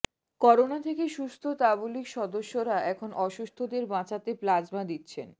corona থেকে সুস্থ তাবলিগ সদস্যরা এখন অসুস্থদের বাঁচাতে প্লাজমা দিচ্ছেন